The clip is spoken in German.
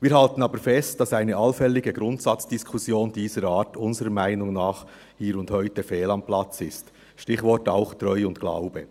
Wir halten aber fest, dass eine allfällige Grundsatzdiskussion dieser Art unseres Erachtens hier und heute fehl am Platz ist, Stichwort: Treu und Glaube.